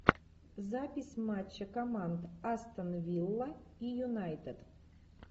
запись матча команд астон вилла и юнайтед